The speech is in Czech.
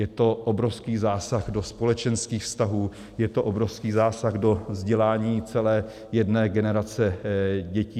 Je to obrovský zásah do společenských vztahů, je to obrovský zásah do vzdělání celé jedné generace dětí.